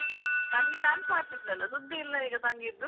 ತಂಗಿ dance ಮಾಡ್ತಿದ್ಳಲ್ಲ ಸುದ್ದಿ ಇಲ್ಲ ಈಗ ತಂಗಿದ್ದು.